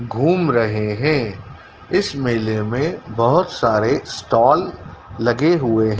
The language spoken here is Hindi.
घूम रहे हैं इस मेले में बहुत सारे स्टॉल लगे हुए--